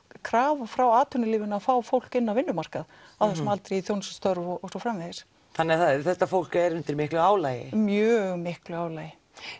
krafa frá atvinnulífinu að fá fólk inn á vinnumarkað á þessum aldri í þjónustustörf og svo framvegis þannig þetta fólk er undir miklu álagi mjög miklu álagi